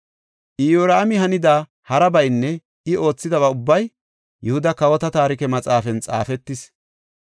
Iyoraami hanida harabaynne I oothidaba ubbay Yihuda Kawota Taarike Maxaafan xaafetis.